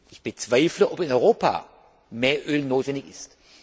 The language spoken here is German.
Ich bezweifle, ob in Europa mehr Öl notwendig ist.